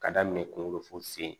Ka daminɛ kunkolo fu sen